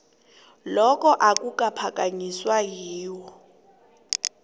lokhu akukaphakanyiswa yiwho